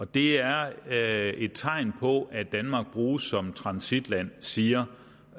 det er er et tegn på at danmark bruges som transitland siger